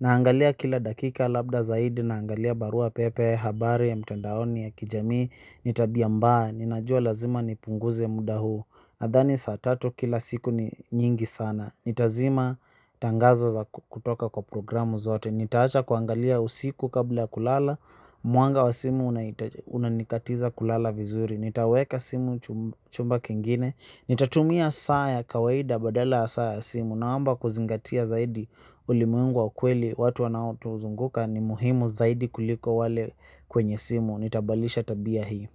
Naangalia kila dakika labda zaidi naangalia barua pepe habari ya mtandaoni ya kijamii. Ni tabia mbaya, ninajua lazima nipunguze muda huu nadhani saa tatu kila siku ni nyingi sana. Nitazima tangazo za kutoka kwa programu zote. Nitaacha kuangalia usiku kabla kulala. Mwanga wa simu unanikatiza kulala vizuri. Nitaweka simu chumba kingine. Nitatumia saa ya kawaida badala saa ya simu naomba kuzingatia zaidi ulimuengu wa kweli watu wanao tuzunguka ni muhimu zaidi kuliko wale kwenye simu nitabalisha tabia hii.